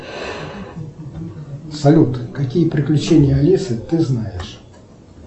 салют какие приключения алисы ты знаешь